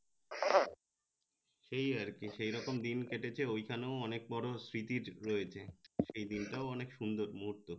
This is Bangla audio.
সেই আর কি সে রকম দিন কেটেছে ওই খানেও অনেক বড় স্মৃতির রয়েছে সেই দিনটাও অনেক সুন্দর মুহুত